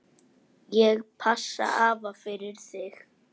Ég passa afa fyrir þig.